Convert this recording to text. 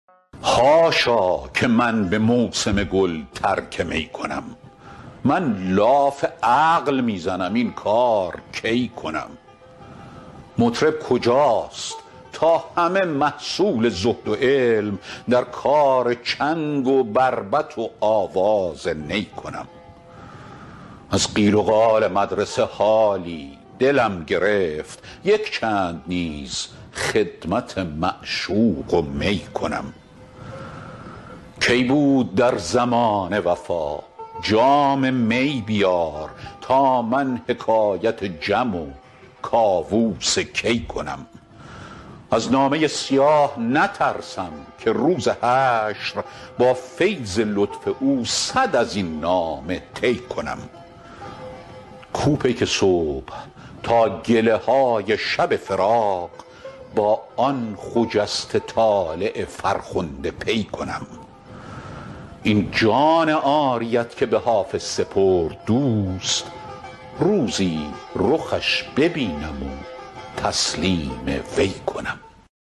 حاشا که من به موسم گل ترک می کنم من لاف عقل می زنم این کار کی کنم مطرب کجاست تا همه محصول زهد و علم در کار چنگ و بربط و آواز نی کنم از قیل و قال مدرسه حالی دلم گرفت یک چند نیز خدمت معشوق و می کنم کی بود در زمانه وفا جام می بیار تا من حکایت جم و کاووس کی کنم از نامه سیاه نترسم که روز حشر با فیض لطف او صد از این نامه طی کنم کو پیک صبح تا گله های شب فراق با آن خجسته طالع فرخنده پی کنم این جان عاریت که به حافظ سپرد دوست روزی رخش ببینم و تسلیم وی کنم